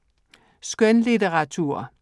Skønlitteratur